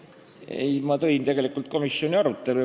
Ei, ma tutvustasin tegelikult komisjoni arutelu.